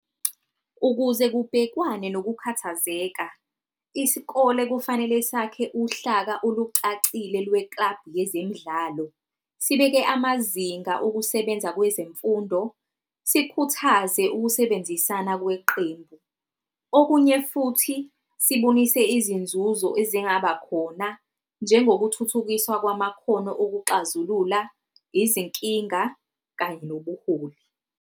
Ukuze kubhekwane nokukhathazeka, isikole kufanele sakhe uhlaka olucacile lwe-club yezemidlalo. Sibeke amazinga okusebenza kwezemfundo, sikhuthaze ukusebenzisana kweqembu, okunye futhi sibonise izinzuzo ezingaba khona. Njengokuthuthukiswa kwamakhono okuxazulula, izinkinga kanye nobuholi.